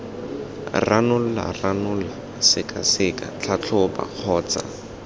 ranola ranola sekaseka tlhatlhoba kgotsa